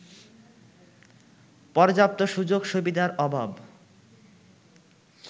পর্যাপ্ত সুযোগ-সুবিধার অভাব